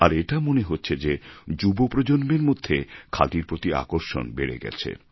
আর এটা মনে হচ্ছে যে যুবপ্রজন্মের মধ্যে খাদির প্রতি আকর্ষণ বেড়ে গেছে